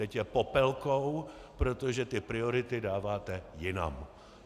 Teď je popelkou, protože ty priority dáváte jinam.